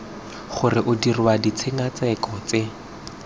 gore o dirwa ditshekatsheko tse